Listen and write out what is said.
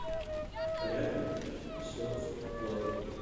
рядом серф плаза